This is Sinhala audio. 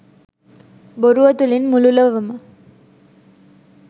බොරුව තුළින් මුළු ලොවම